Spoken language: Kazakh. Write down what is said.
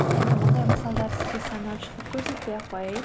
енді мұндай мысалдар сізге санап шығып көрсетпей ақ қояйын